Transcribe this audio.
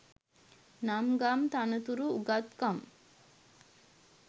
නම් ගම් තනතුරු උගත්කම්